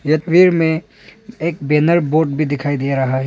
यह पेड़ में एक बैनर बोर्ड भी दिखाई दे रहा है।